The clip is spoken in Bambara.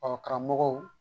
O karamɔgɔw